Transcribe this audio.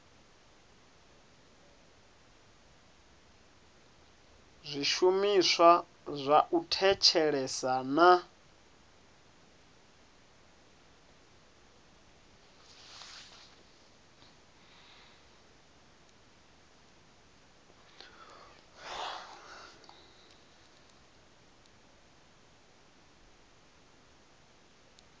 zwishumiswa zwa u thetshelesa na